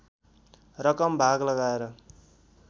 रकम भाग लगाएर